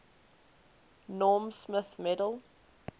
norm smith medal